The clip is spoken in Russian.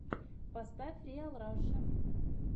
поставь риал раша